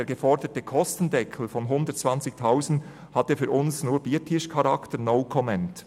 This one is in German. Der geforderte Kostendeckel von 120 000 Franken hat für uns nur Biertischcharakter, «no comment».